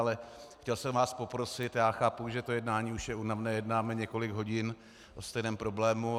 Ale chtěl jsem vás poprosit, já chápu, že to jednání už je únavné, jednáme několik hodin o stejném problému.